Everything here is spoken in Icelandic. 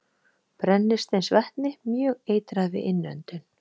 Brennisteinsvetni- Mjög eitrað við innöndun.